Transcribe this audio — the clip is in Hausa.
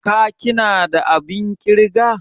ka/ ki na da abin kirga?